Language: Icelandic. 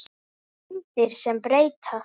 Myndir sem breyta